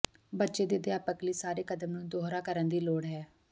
ਬੱਚੇ ਦੇ ਅਧਿਆਪਕ ਲਈ ਸਾਰੇ ਕਦਮ ਨੂੰ ਦੁਹਰਾ ਕਰਨ ਦੀ ਲੋੜ ਹੈ